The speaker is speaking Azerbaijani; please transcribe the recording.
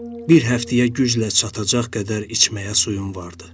Bir həftəyə güclə çatacaq qədər içməyə suyum vardı.